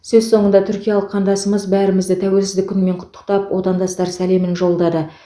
сөз соңында түркиялық қандасымыз бәрімізді тәуелсіздік күнімен құттықтап отандастар сәлемін жолдады